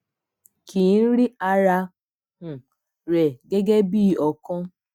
ki i rí ara um rẹ̀ gẹ́gẹ́ bi ọ̀kan